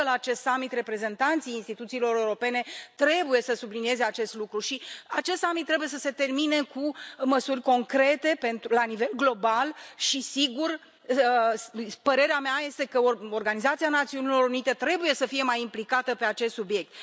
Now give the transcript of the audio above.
cred că la acest summit reprezentanții instituțiilor europene trebuie să sublinieze acest lucru, iar acest summit trebuie să se termine cu măsuri concrete la nivel global și, desigur, părerea mea este că Organizația Națiunilor Unite trebuie să fie mai implicată pe acest subiect.